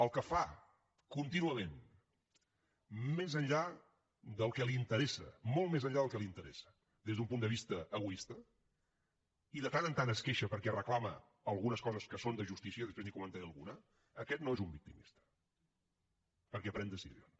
el que fa contínuament més enllà del que li interessa molt més enllà del que li interessa des d’un punt de vista egoista i de tant en tant es queixa perquè reclama algunes coses que són de justícia després n’hi comentaré alguna aquest no és un victimista perquè pren decisions